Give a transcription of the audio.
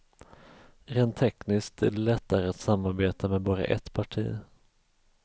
Rent tekniskt är det lättare att samarbeta med bara ett parti.